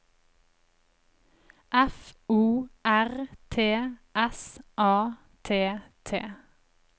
F O R T S A T T